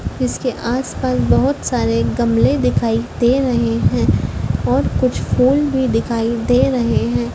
इसके आसपास बहुत सारे गमले दिखाई दे रहे है और कुछ फुल भी दिखाई दे रहे है।